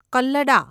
કલ્લડા